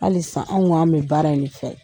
Halisa anw k'an bi baara in de fɛ .